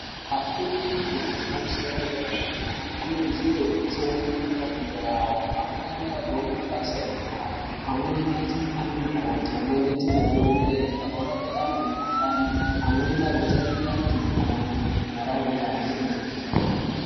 Afundi efundo yepamusoro yedera-dera, anokurudzirwe kutsamwirira pafundo yavo. Amweni agone mabasa enyara , amweni aite anamukoti , amweni aite madhogodheya, agorape antu mukhuhlani ,amweni agotarire antu makodo, ntaraunda ihambire mberi.